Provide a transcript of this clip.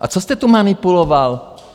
A co jste tu manipuloval?